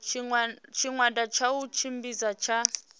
tshigwada tsha u tshimbidza tsha